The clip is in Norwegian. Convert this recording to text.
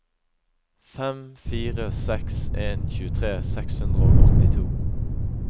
fem fire seks en tjuetre seks hundre og åttito